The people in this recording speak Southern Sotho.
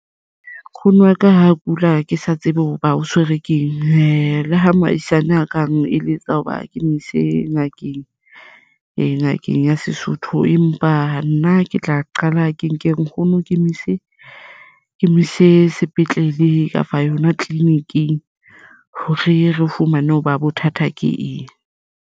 Nkgono wa ka ha kula ke sa tsebe hoba o tshwerwe keng le ha mohaisane a kang eletsa hoba ke mo ise ngakeng ngakeng ya Sesotho. Empa nna ke tla qala ke nke nkgono ke mo ise sepetlele kapa yona tleliniking hore re fumane hoba bothata ke eng.